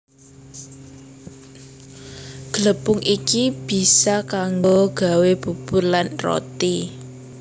Glepung iki bisa kanggo gawé bubur lan roti